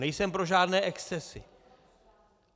Nejsem pro žádné excesy.